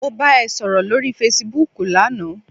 Mo bá ẹ sọ̀rọ̀ lórí fesibúùkù lana